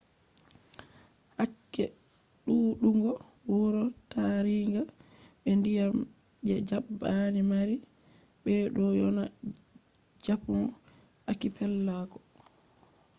hakke ɗuuɗugo wuro taringa be ndiyam je japan mari beɗo ‘yona japan akipelago